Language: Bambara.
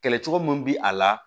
Kɛlɛ cogo min bi a la